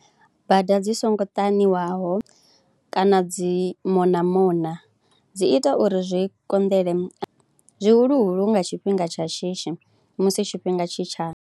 Bada dzi songo ṱaniwaho kana dzi mona mona, dzi ita uri zwi konḓele zwihuluhulu nga tshifhinga tsha shishi musi tshifhinga tshi tsha.